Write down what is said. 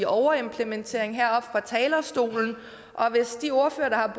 overimplementering heroppe fra talerstolen hvis de ordførere der